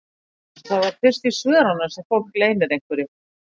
Það er fyrst í svörunum sem fólk leynir einhverju.